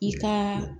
I ka